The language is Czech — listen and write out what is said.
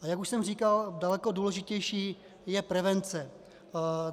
A jak už jsem říkal, daleko důležitější je prevence.